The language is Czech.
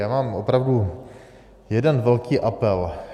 Já mám opravdu jeden velký apel.